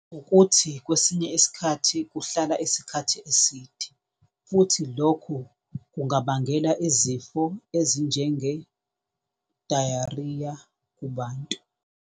Ukuthi kwesinye isikhathi kuhlala isikhathi eside, futhi lokhu kungabangela izifo ezinjenge-diarrhea kubantu.